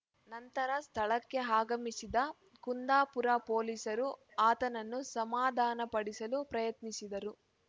ನಂತರ ಸ್ಥಳಕ್ಕೆ ಆಗಮಿಸಿದ ಕುಂದಾಪುರ ಪೊಲೀಸರು ಆತನನ್ನು ಸಮಾಧಾನ ಪಡಿಸಲು ಪ್ರಯತ್ನಿಸಿದರು